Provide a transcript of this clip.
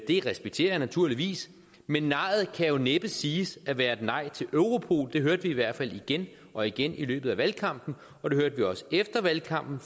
det respekterer jeg naturligvis men nejet kan jo næppe siges at være et nej til europol det hørte vi i hvert fald igen og igen i løbet af valgkampen og det hørte vi også efter valgkampen